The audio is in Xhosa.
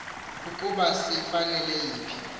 nokokuba zifanele yiphi